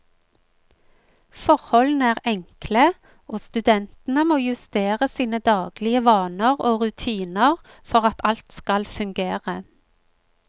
Forholdene er enkle, og studentene må justere sine daglige vaner og rutiner for at alt skal fungere.